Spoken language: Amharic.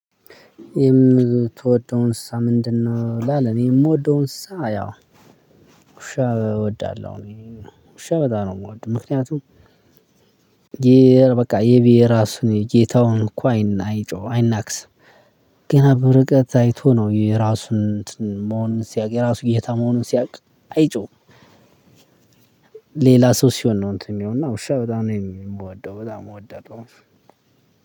የምትወደው እንስሳ ምንድነው? ይላል እኔ የምወደው እንስሳ ያው ውሻ እወዳለሁ። እኔ ውሻ በጣም ነው የምወደው። ምክንያቱም በቃ የብሄ ራሱ ጌታውን እኮ አይናክስም። ገና በርቀት አይቶ ነው የራሱን መሆን ሲያውቅ የራሱ ጌታ መሆንን ሲያውቅ አይጮህም። ሌላ ሰው ሲሆን ነው እንትን የሚሆነው እና ውሻ በጣም ነው የምወደው በጣም እወዳለሁ።